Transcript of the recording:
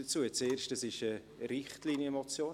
Das erste: Es ist eine Richtlinienmotion.